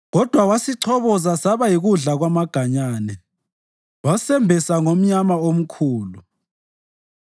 Kodwa wasichoboza saba yikudla kwamaganyane, wasembesa ngomnyama omkhulu.